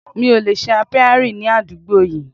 Mi ò lè ṣe Apiary ní àdúgbò yìí.